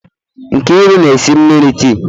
Nkeiru na-esi mmiri tii.